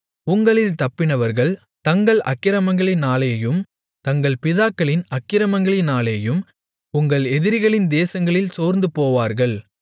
உங்களில் தப்பினவர்கள் தங்கள் அக்கிரமங்களினாலேயும் தங்கள் பிதாக்களின் அக்கிரமங்களினாலேயும் உங்கள் எதிரிகளின் தேசங்களில் சோர்ந்துபோவார்கள்